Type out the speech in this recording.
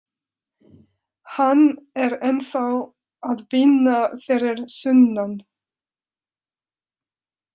Hann er ennþá að vinna fyrir sunnan.